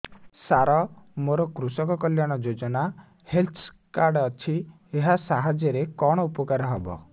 ସାର ମୋର କୃଷକ କଲ୍ୟାଣ ଯୋଜନା ହେଲ୍ଥ କାର୍ଡ ଅଛି ଏହା ସାହାଯ୍ୟ ରେ କଣ ଉପକାର ହବ